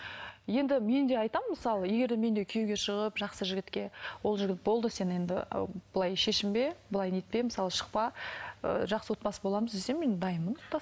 енді мен де айтамын мысалы егер де мен де күйеуге шығып жақсы жігітке ол жігіт болды сен енді былай шешінбе былай нетпе мысалы шықпа ыыы жақсы отбасы боламыз десе мен дайынмын